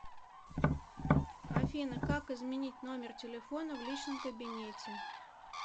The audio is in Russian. афина как изменить номер телефона в личном кабинете